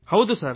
ಹೌದು ಸರ್